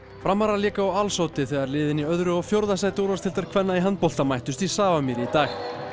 framarar léku á alls Oddi þegar liðin í öðru og fjórða sæti úrvalsdeildar kvenna í handbolta mættust í Safamýri í dag